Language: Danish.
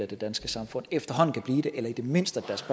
det danske samfund min